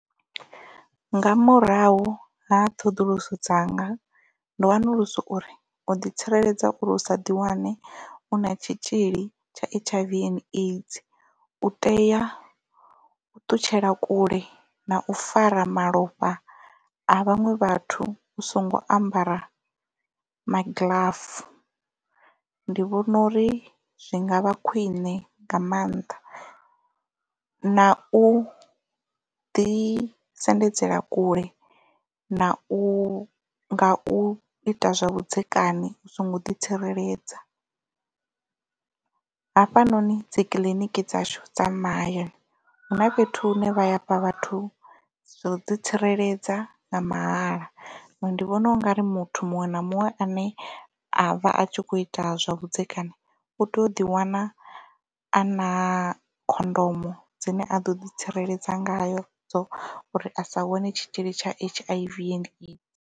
Nga murahu ha ṱhoḓuluso dzanga ndo wanulusa uri u ḓi tsireledza uri usa ḓiwane u na tshitzhili tsha H_I_V and AIDS u teya u ṱutshela kule na u fara malofha a vhaṅwe vhathu u songo ambara magiḽafu ndi vhona uri zwi ngavha khwine nga maanḓa na u ḓi sendedzela kule na u nga u ita zwa vhudzekani u songo ḓi tsireledza hafha noni dzi kiḽiniki dzashu dza mahayani hu na fhethu hune vha hafha vhathu zwo ḓi tsireledza nga mahala nṋe ndi vhona u nga ri muthu muṅwe na muṅwe ane a vha a tshi kho ita zwa vhudzekani u tea u ḓi wana a na khondomo dzine a ḓo ḓi tsireledza ngayo dzo uri a sa wane tshitzhili tsha H_I_V and AIDS.